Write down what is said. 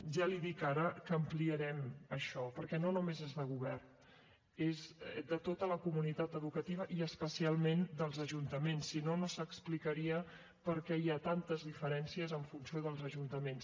ja li dic ara que ampliarem això perquè no només és de govern és de tota la comunitat educativa i especialment dels ajuntaments si no no s’explicaria per què hi ha tantes diferències en funció dels ajuntaments